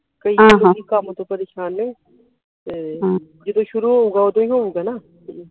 ਕਈ ਕੰਮ ਤੋਂ ਪ੍ਰੇਸ਼ਾਨ ਆ ਤੇ ਜਦੋ ਸ਼ੁਰੂ ਹੋਊਗਾ ਓਦੋ ਈ ਹੋਊਗਾ ਨਾ